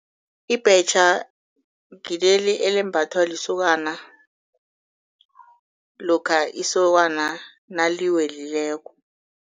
Ibhetjha ngileli elimbathwa lisokana lokha isokana naliwelileko.